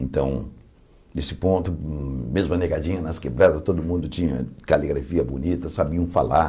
Então, nesse ponto, mesmo a negadinha nas quebradas, todo mundo tinha caligrafia bonita, sabiam falar.